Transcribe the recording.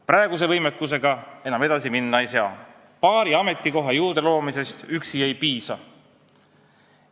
Praeguse võimekusega enam edasi minna ei saa, paari ametikoha juurdeloomisest ei piisa.